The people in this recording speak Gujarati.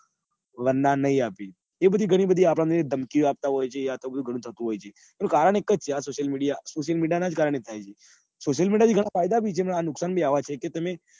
એનું કકારણ એક જ છે આ social media એનું કારણ જ આ છે. social media થી ઘણાં ફાયદા પણ છે. અને નુકસાન બી અવ જ છે કે તમે